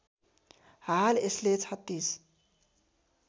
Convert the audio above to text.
हाल यसले ३६